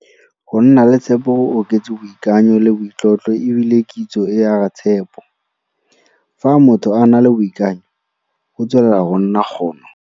Go nna le tshepo go oketse boikanyo le boitlotlo e bile kitso e aga tshepo. Fa motho a na le boikanyo, go tswelela go nna kgono.